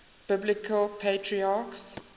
biblical patriarchs